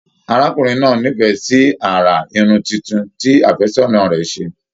Arákùnrin náà n'ifẹ sí àrà Irun títún tí àfẹ́sọ̀nà rẹ ṣe.